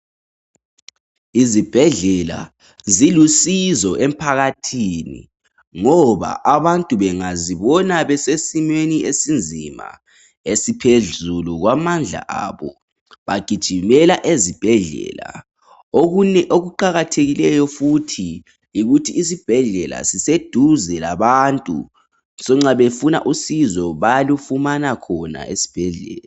izibhedlela zilusizo emphakathini ngoba abantu bengazibona besesimweni esinzima esiphezulu kwamandla abo bagijimela ezibhedlela okunye okuqakthekileyo futhi yikuthi isibhedlela sibe seduze labantu so nxa befuna usizo bayalufumana khona esibhedlela